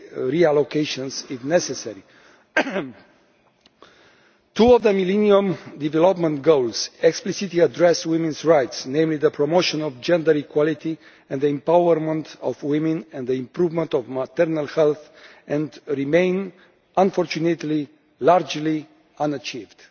reallocations if necessary. Two of the Millennium Development Goals explicitly address women's rights namely promotion of gender equality and empowerment of women, and the improvement of maternal health and they remain, unfortunately, largely unachieved.